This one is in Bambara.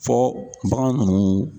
Fɔ bagan ninnu